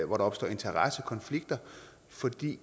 hvor der opstår interessekonflikter fordi